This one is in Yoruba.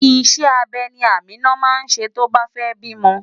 Iṣẹ́ abẹ ni Amina máa ṣe tó bá fẹ́ bímọ.